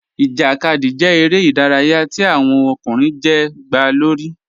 Ijákadì jẹ̀ èrè idàráyà tí awọn ọkùnrin jẹ́ gba lórí.